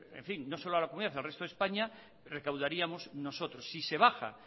no solo a la comunidad sino al resto de españa recaudaríamos nosotros si se baja